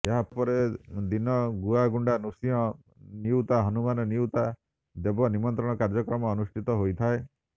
ଏହାପର ଦିନ ଗୁଆଗୁଣ୍ଡା ନୃସିଂହ ନିଉତା ହନୁମାନ ନିଉତା ଦେବ ନିମନ୍ତ୍ରଣ କାର୍ଯ୍ୟକ୍ରମ ଅନୁଷ୍ଠିତ ହୋଇଥାଏ